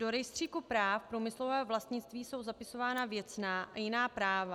Do rejstříku práv průmyslového vlastnictví jsou zapisována věcná a jiná práva.